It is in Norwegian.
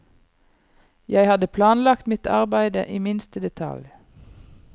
Jeg hadde planlagt mitt arbeidet i minste detalj.